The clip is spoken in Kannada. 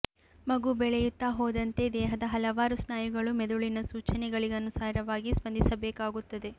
ಮಗು ಬೆಳೆಯುತ್ತಾ ಹೋದಂತೆ ದೇಹದ ಹಲವಾರು ಸ್ನಾಯುಗಳು ಮೆದುಳಿನ ಸೂಚನೆಗಳಿಗನುಸಾರವಾಗಿ ಸ್ಪಂದಿಸಬೇಕಾಗುತ್ತದೆ